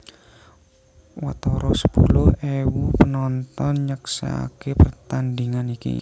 Watara sepuluh ewu penonton nyeksèkaké pertandhingan iki